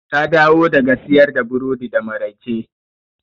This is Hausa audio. Ta dawo daga siyar da burodi da maraice.